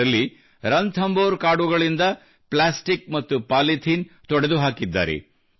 ಇದರಲ್ಲಿ ರಣಥಂಬೋರ್ ಕಾಡುಗಳಿಂದ ಪ್ಲಾಸ್ಟಿಕ್ ಮತ್ತು ಪಾಲಿಥೀನ್ ತೊಡೆದುಹಾಕಿದ್ದಾರೆ